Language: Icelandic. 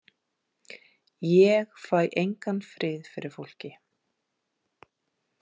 Ég fæ engan frið fyrir fólki.